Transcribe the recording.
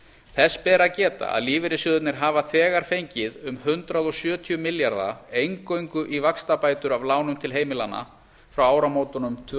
þess ber að geta að lífeyrissjóðirnir hafa þegar fengið um hundrað sjötíu milljarða eingöngu í vaxtabætur af lánum til heimilanna frá áramótum tvö